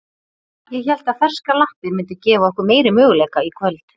Ég hélt að ferskar lappir myndu gefa okkur meiri möguleika í kvöld.